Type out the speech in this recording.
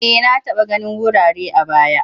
E, na taba ganin wurare a baya.